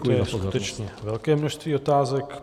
To je skutečně velké množství otázek.